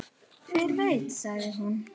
Hver veit sagði hún.